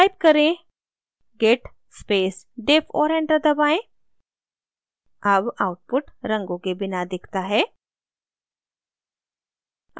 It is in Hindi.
type करें git space diff और enter दबाएँ अब output रंगों के बिना दिखाता है